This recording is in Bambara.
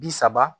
Bi saba